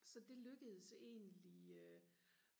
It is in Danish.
så det lykkedes egentlig